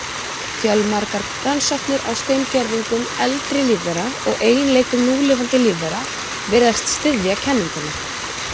Fjölmargar rannsóknir á steingervingum eldri lífvera og eiginleikum núlifandi lífvera virðast styðja kenninguna.